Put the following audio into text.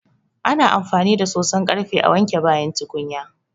Ana amfani da soson ƙarfe a wanke bayan tukunya.